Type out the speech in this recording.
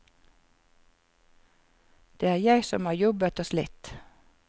Det er jeg som har jobbet og slitt.